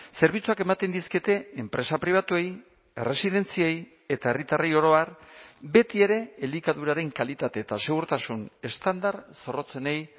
zerbitzuak ematen dizkiete enpresa pribatuei erresidentziei eta herritarrei oro har betiere elikaduraren kalitate eta segurtasun estandar zorrotzenei